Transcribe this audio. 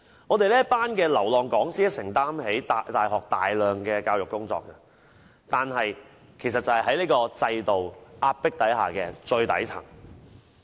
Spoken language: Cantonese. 我們這群流浪講師承擔起大學大量教育工作，但卻被這個制度壓迫在最底層。